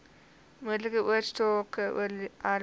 moontlike oorsake oorerwing